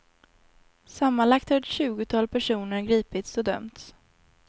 Sammanlagt har ett tjugotal personer gripits och dömts.